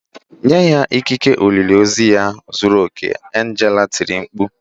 " Nye ya ikike olili ozu ya zuru oke"! Angela tiri mkpu.